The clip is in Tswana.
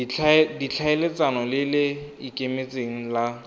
ditlhaeletsano le le ikemetseng la